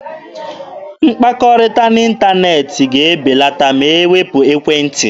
Mkpakọrịta n'ịntaneetị ga-ebelata ma e wepụ ekwentị.